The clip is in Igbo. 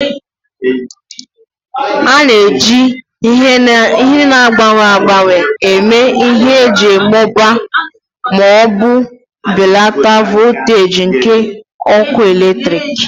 A na-eji ihe na-agbanwe agbanwe eme ihe iji mụbaa ma ọ bụ belata voltaji nke ọkụ eletrik